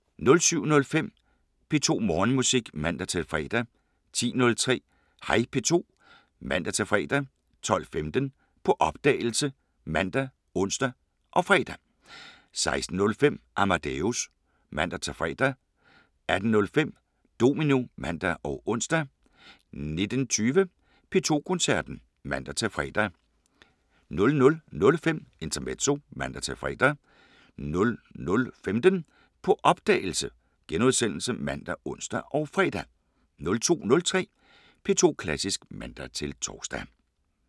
07:05: P2 Morgenmusik (man-fre) 10:03: Hej P2 (man-fre) 12:15: På opdagelse ( man, ons, fre) 16:05: Amadeus (man-fre) 18:05: Domino (man og ons) 19:20: P2 Koncerten (man-fre) 00:05: Intermezzo (man-fre) 00:15: På opdagelse *( man, ons, fre) 02:03: P2 Klassisk (man-tor)